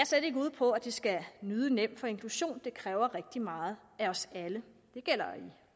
slet ikke ude på at det skal lyde nemt for inklusion kræver rigtig meget af os alle det gælder